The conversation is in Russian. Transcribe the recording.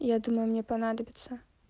я думаю мне понадобится